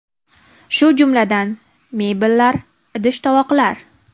Shu jumladan mebellar, idish-tovoqlar.